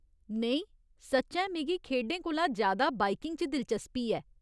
नेईं, सच्चैं मिगी खेढें कोला ज्यादा बाइकिंग च दिलचस्पी ऐ।